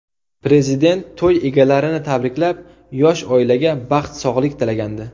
Prezident to‘y egalarini tabriklab, yosh oilaga baxt, sog‘lik tilagandi.